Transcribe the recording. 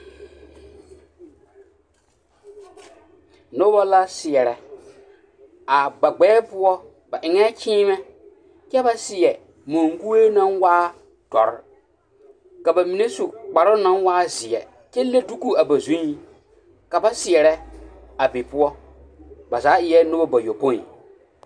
Noba la seɛrɛ a ba ɡbɛɛ poɔ ba eŋɛɛ kyiimɛ kyɛ ba seɛ maŋkue naŋ waa dɔre ka ba mine su kparoo na waa zeɛ kyɛ le duku a ba zuiŋ ka ba seɛrɛ a be poɔ ba zaa eɛ noha bayoɔpoe.